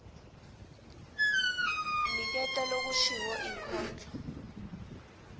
niketa lokushiwo inkondlo